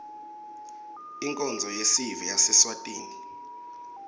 inkonzo yesive yaseswatini